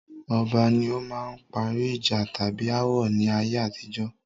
Ọba ní ó máa ń parí ìjà tàbí ááwọ̀ ni ayé àtijọ́.